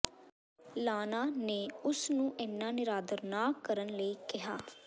ਲਾਨਾ ਨੇ ਉਸ ਨੂੰ ਇੰਨਾ ਨਿਰਾਦਰ ਨਾ ਕਰਨ ਲਈ ਕਿਹਾ